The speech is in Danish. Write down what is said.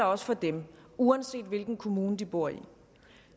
også for dem uanset hvilken kommune de bor i